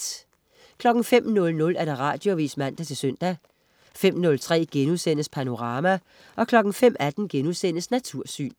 05.00 Radioavis (man-søn) 05.03 Panorama* 05.18 Natursyn*